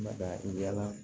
Mada bi yala